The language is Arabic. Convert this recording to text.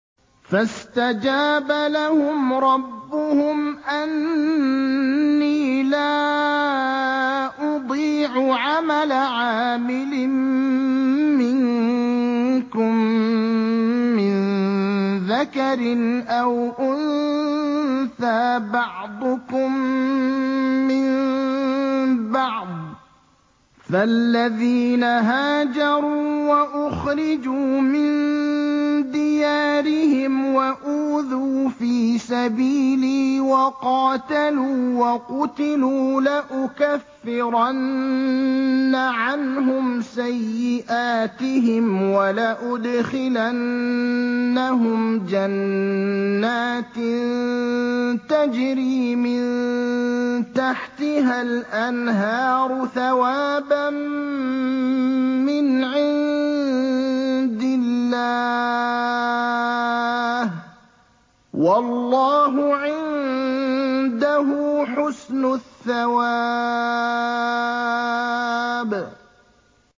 فَاسْتَجَابَ لَهُمْ رَبُّهُمْ أَنِّي لَا أُضِيعُ عَمَلَ عَامِلٍ مِّنكُم مِّن ذَكَرٍ أَوْ أُنثَىٰ ۖ بَعْضُكُم مِّن بَعْضٍ ۖ فَالَّذِينَ هَاجَرُوا وَأُخْرِجُوا مِن دِيَارِهِمْ وَأُوذُوا فِي سَبِيلِي وَقَاتَلُوا وَقُتِلُوا لَأُكَفِّرَنَّ عَنْهُمْ سَيِّئَاتِهِمْ وَلَأُدْخِلَنَّهُمْ جَنَّاتٍ تَجْرِي مِن تَحْتِهَا الْأَنْهَارُ ثَوَابًا مِّنْ عِندِ اللَّهِ ۗ وَاللَّهُ عِندَهُ حُسْنُ الثَّوَابِ